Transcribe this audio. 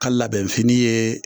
Ka labɛnfini ye